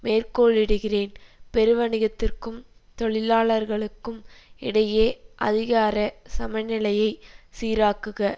மேற்கோளிடுகிறேன் பெருவணிகத்திற்கும் தொழிலாளர்களுக்கும் இடையே அதிகாரச் சமநிலையை சீராக்குக